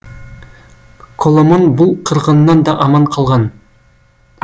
коломон бұл қырғыннан да аман қалған